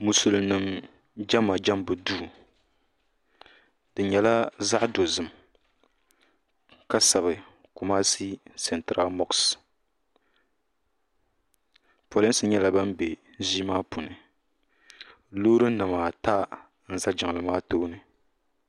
Musulim nima jɛma jɛmmbu duu di nyɛla zaɣi dozim ka sabi kumashi santra mɔɣs polinsi nyɛla bini bɛ zii maa puni loori nima ata za jiŋli maa tooni.